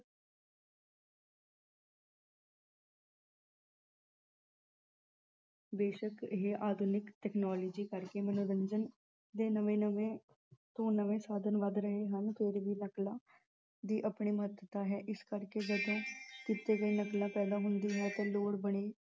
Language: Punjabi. ਬੇਸ਼ੱਕ ਇਹੇ ਆਧੁਨਿਕ ਤਕਨੋਲੋਜੀ ਕਰਕੇ ਮਨੋਰੰਜਨ ਦੇ ਨਵੇਂ-ਨਵੇਂ ਤੋਂ ਨਵੇਂ ਸਾਧਨ ਲੱਭ ਰਹੇ ਹਨ। ਫਿਰ ਵੀ ਨਕਲਾਂ ਦੀ ਆਪਣੀ ਮਹੱਤਤਾ ਹੈ ਇਸ ਕਰਕੇ ਜਦੋਂ ਕਿਤੇ ਵੀ ਨਕਲਾਂ ਹੁੰਦੀ ਹੈ ਤਾਂ ਲੋਕ ਬੜੀ